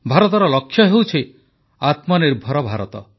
ଭାରତର ଲକ୍ଷ୍ୟ ହେଉଛି ଆତ୍ମନିର୍ଭର ଭାରତ